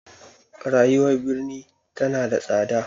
Rayuwar birni tana da tsada.